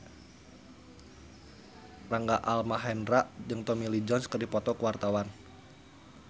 Rangga Almahendra jeung Tommy Lee Jones keur dipoto ku wartawan